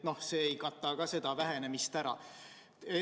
Ka see ei kata seda vähenemist ära.